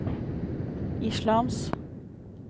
islams